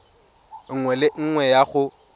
nngwe le nngwe ya go